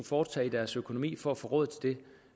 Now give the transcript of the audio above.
foretage i deres økonomi for at få råd til det